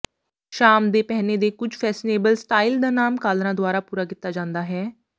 ਸ਼ਾਮ ਦੇ ਪਹਿਨੇ ਦੇ ਕੁਝ ਫੈਸ਼ਨੇਬਲ ਸਟਾਈਲ ਦਾ ਨਾਮ ਕਾਲਰਾਂ ਦੁਆਰਾ ਪੂਰਾ ਕੀਤਾ ਜਾਂਦਾ ਹੈ